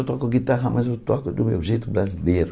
Eu toco guitarra, mas eu toco do meu jeito brasileiro.